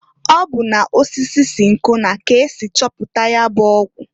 Ọ bụ na osisi sinkona k'esi chọpụta ya bụ ọgwụ.